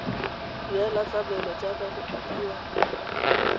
duela tlamelo jaaka go kopiwa